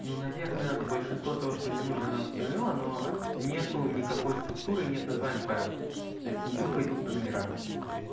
ну наверное большинство того что мне нужно она установила но нет никакой структуры нет названий файлов то есть тупо идут по номерам